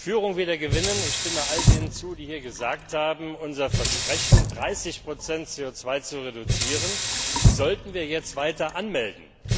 Führung wieder gewinnen Ich stimme all denen zu, die hier gesagt haben, unser Versprechen, 30 CO 2 zu reduzieren, sollten wir jetzt weiter anmelden.